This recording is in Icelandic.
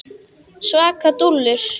Svaka dúllur!